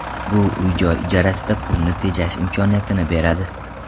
Bu uy-joy ijarasida pulni tejash imkoniyatini beradi.